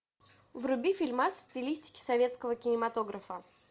вруби фильмас в стилистике советского кинематографа